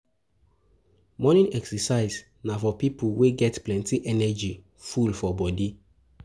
Morning exercise na for pipo wey get plenty energy full for body